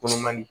Kolon man di